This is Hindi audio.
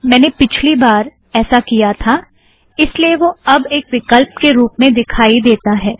मैंने पिछली बार ऐसा किया था इस लिए वह अब एक विकल्प के रूप में दिखाई देता है